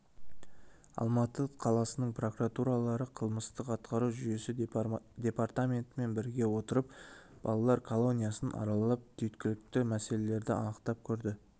алматы қаласының прокурорлары қылмыстық атқару жүйесі департаментімен біріге отырып балалар колониясын аралап түйткілді мәселелерді анықтап көрді